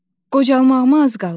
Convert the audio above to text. Qocalmağıma az qalıb.